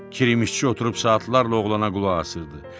Kirişçi oturub saatlarla oğlana qulaq asırdı.